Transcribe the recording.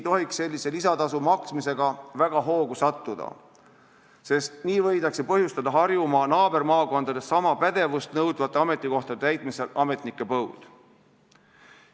Aga sellise lisatasu maksmisega ei tohiks väga hoogu sattuda, sest nii võidakse põhjustada Harjumaa naabermaakondades sama pädevust nõudvate ametikohtade täitmisel ametnike põud.